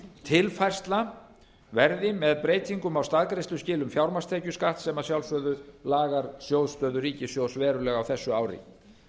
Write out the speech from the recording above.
tilfærsla verði með breytingum á staðgreiðsluskilum fjármagnstekjuskatts sem að sjálfsögðu lagar sjóðsstöðu ríkissjóðs verulega á þessu ári